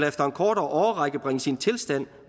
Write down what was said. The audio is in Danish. efter en kortere årrække bringes i en tilstand